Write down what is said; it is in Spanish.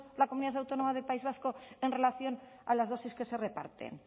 la comunidad autónoma del país vasco en relación a las dosis que se reparten